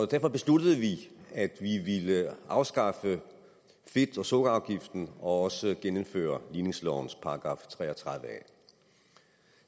derfor besluttede vi at vi ville afskaffe fedt og sukkerafgiften og genindføre ligningslovens § tre og tredive a